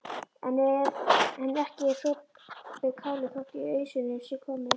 En ekki er sopið kálið þótt í ausuna sé komið.